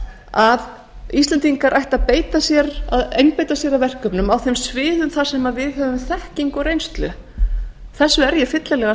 að íslendingar ættu að einbeita sér að verkefnum á þeim sviðum þar sem við höfum þekkingu og reynslu þessu er ég fyllilega